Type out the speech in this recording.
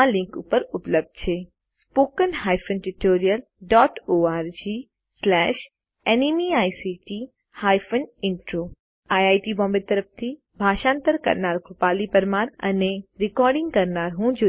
આ લીંક ઉપર ઉપલબ્ધ છે httpspoken tutorialorgNMEICT Intro IIT Bombay તરફથી ભાષાંતર કરનાર હું કૃપાલી પરમાર વિદાય લઉં છું